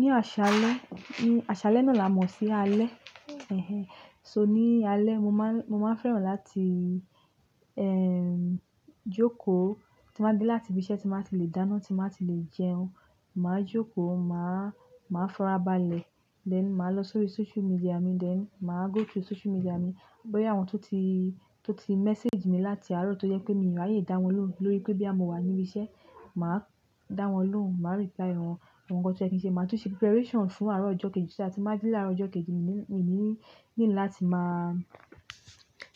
Ní àṣálẹ́, àṣálẹ́ náà làá mọ̀ sí alẹ́. So ní alẹ́, mo máa ń fẹ́ràn láti, ẹm, jókòó tí máa dé láti ibi iṣẹ́ tí máa ti le dáná, tí máa ti le jẹun. Màá jókòó, màá farabalẹ̀, then màá lọ sórí social media mi, then màá go through social media mi. Bóyá àwọn tó ti message mi láti àárọ̀ tó jẹ́ pé mi rí ààyè dá wọn lóhùn lórí pé bóyá mo wà níbi iṣẹ́, màá dá wọn lóhùn, màá reply wọn. Àwọn nǹkan tó yẹ kiń ṣe, màá tún ṣe preparation fún àárọ̀ ọjọ́ kejì. So that tí n bá jí láàárọ̀ ọjọ́ kejì, mí ní láti máa